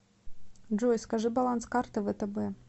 джой скажи баланс карты втб